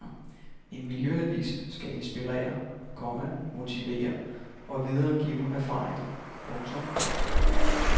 En miljøavis skal inspirere, komma motivere og videregive erfaringer. punktum